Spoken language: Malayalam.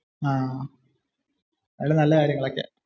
ആഹ്. അതെല്ലാം നല്ല കാര്യങ്ങളൊക്കെയാ